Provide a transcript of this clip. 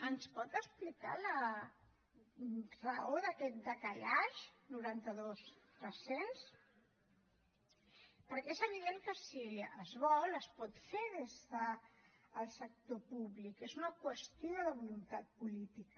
ens pot explicar la raó d’aquest décalage noranta dos tres cents perquè és evident que si es vol es pot fer des del sector públic és una qüestió de voluntat política